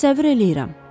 Təsəvvür eləyirəm.